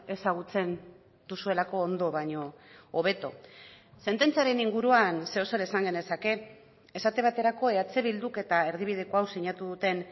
ezagutzen duzuelako ondo baino hobeto sententziaren inguruan zeozer esan genezake esate baterako eh bilduk eta erdibideko hau sinatu duten